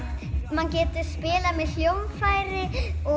maður getur spilað með hljóðfæri